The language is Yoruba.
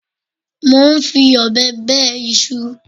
Mo ń fi ọ̀bẹ bẹ iṣu